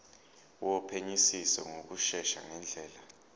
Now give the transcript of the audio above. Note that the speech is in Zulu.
wophenyisiso ngokushesha ngendlela